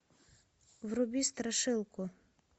вруби страшилку